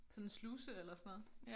Sådan sluse eller sådan noget